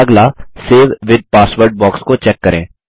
अगला save with password box को check करें